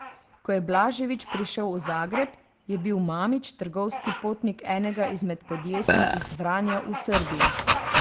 Ko je Blažević prišel v Zagreb, je bil Mamić trgovski potnik enega izmed podjetij iz Vranja v Srbiji.